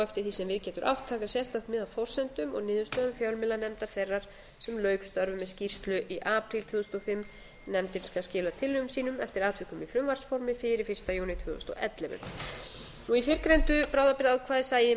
eftir því sem við getur átt taka sérstakt mið af forsendum og niðurstöðum fjölmiðlanefndar þeirrar sem lauk störfum með skýrslu í apríl tvö þúsund og fimm nefndin skal skila tillögum sínum eftir atvikum í frumvarpsformi fyrir fyrsta júní tvö þúsund og ellefu í fyrrgreindu bráðabirgðaákvæði segir